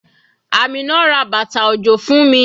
Amina ra bàtà òjò fún mi.